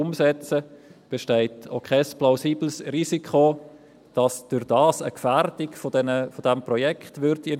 Daher besteht auch kein plausibles Risiko, dass das Projekt dadurch gefährdet werden könnte.